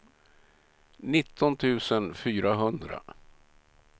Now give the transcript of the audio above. nitton tusen fyrahundra